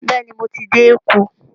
Bẹ́ẹ̀ ni, mo ti dé Èkó